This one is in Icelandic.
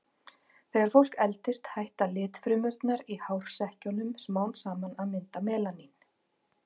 Þegar fólk eldist hætta litfrumurnar í hársekkjunum smám saman að mynda melanín.